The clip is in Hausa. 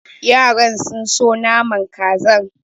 Yaran sun so naman kazan.